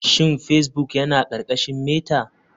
Shin facebbok yana ƙarƙashin meta?